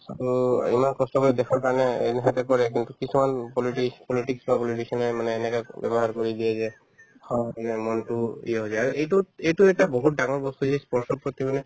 to ইমান কষ্ট কৰি দেশৰ কাৰণে কৰে কিন্তু কিছুমান politics~ politics বা politician য়ে মানে এনেকৈ ব্যৱহাৰ কৰি দিয়ে যে যে মনতো হৈ যায় আৰু এইটোত এইটো এটা বহুত ডাঙৰ বস্তু ই sports ৰ প্ৰতি মানে